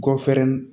Gafe nin